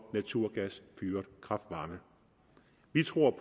naturgasfyret kraft varme vi tror